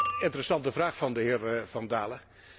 Interessante vraag van de heer van Dalen.